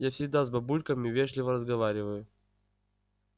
я всегда с бабульками вежливо разговариваю